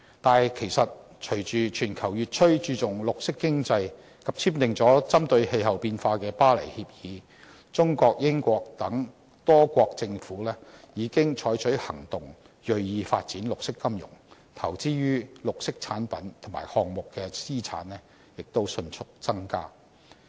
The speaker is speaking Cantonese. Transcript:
但是，隨着全球越趨注重綠色經濟，多國簽訂了針對氣候變化的《巴黎協議》，中國、英國等多國政府已經採取行動，銳意發展綠色金融，投資於綠色產品及項目的資產也迅速增加。